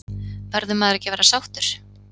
Verður maður ekki að vera sáttur?